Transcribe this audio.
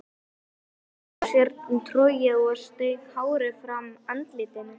Hún lagði frá sér trogið og strauk hárið frá andlitinu.